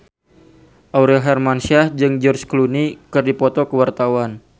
Aurel Hermansyah jeung George Clooney keur dipoto ku wartawan